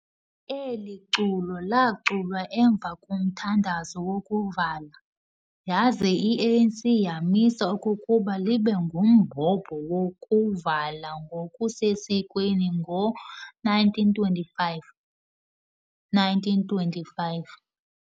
Eli culo laaculwa emva komthandazo wokuvala, yaza i-ANC yamisa okokuba libe ngumhobe wokuvala ngokusesikweni ngo-1925. 1925.